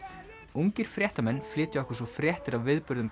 ungir fréttamenn flytja okkur svo fréttir af viðburðum